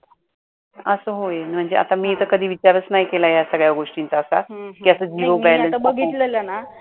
अस होय म्हणजे मी तर आता कधी विचारच नाही केला या सगळ्या गोष्टींचा आता कि अस zero balance account